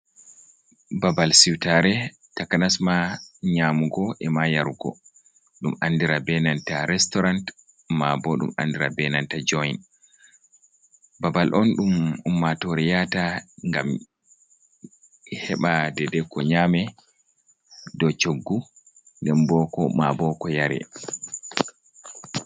Babal siutare taka nasma nyamugo e ma yarugo dum andira benanta restaurant ma bo dum andira benanta joint babal on dum ummatore yata gam heba dedai ko nyame do coggu nden boko ma boko yare.